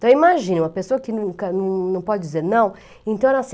Então, imagina, uma pessoa que nunca não pode dizer não, então era assim.